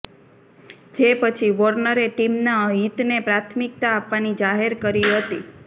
જે પછી વોર્નરે ટીમના હિતને પ્રાથમિકતા આપવાની જાહેરાત કરી હતી